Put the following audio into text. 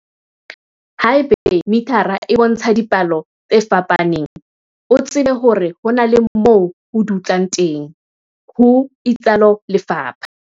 "Haeba mithara e bontsha dipalo tse fapaneng, o tsebe hore ho na le moo ho dutlang teng," ho itsalo lefapha.